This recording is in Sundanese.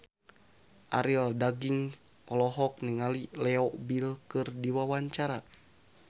Arie Daginks olohok ningali Leo Bill keur diwawancara